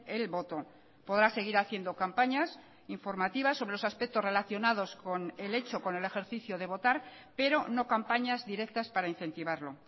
el voto podrá seguir haciendo campañas informativas sobre los aspectos relacionados con el hecho con el ejercicio de votar pero no campañas directas para incentivarlo